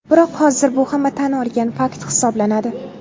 Biroq hozir bu hamma tan olgan fakt hisoblanadi.